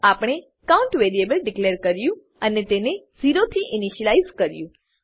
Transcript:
આપણે count variable declare કર્યું અને તેને ઝીરોથી ઈનીશીલાઈઝ કર્યું